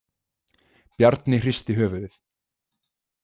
Bjarni hristi höfuðið.